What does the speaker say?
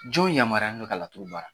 Jɔn yamaruyalen don ka laturu baara?